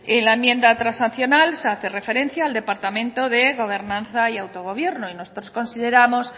en la enmienda transaccional se hace referencia al departamento de gobernanza y autogobierno y nosotros consideramos